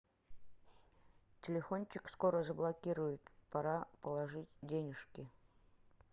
телефончик скоро заблокируют пора положить денежки